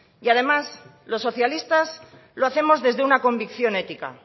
y además los socialistas lo hacemos desde una convicción ética